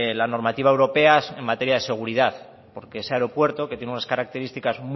la normativa europea en materia de seguridad porque ese aeropuerto que tiene unas características